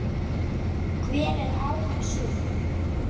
Hver er áin sú?